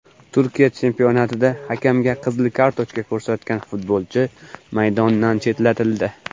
Turkiya chempionatida hakamga qizil kartochka ko‘rsatgan futbolchi maydondan chetlatildi.